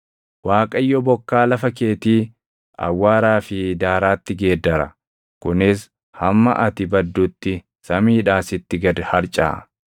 Waaqayyo bokkaa lafa keetii awwaaraa fi daaraatti geeddara; kunis hamma ati baddutti samiidhaa sitti gad harcaʼa.